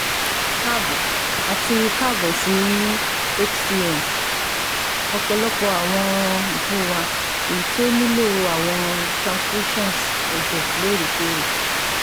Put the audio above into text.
Kaabo ati kaabo si HCM, ọpọlọpọ awọn ipo wa eyiti o nilo awọn transfusions ẹjẹ loorekoore